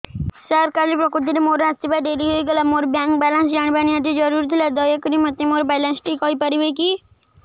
ସାର କାଲି ପ୍ରକୃତରେ ମୋର ଆସିବା ଡେରି ହେଇଗଲା ମୋର ବ୍ୟାଙ୍କ ବାଲାନ୍ସ ଜାଣିବା ନିହାତି ଜରୁରୀ ଥିଲା ଦୟାକରି ମୋତେ ମୋର ବାଲାନ୍ସ ଟି କହିପାରିବେକି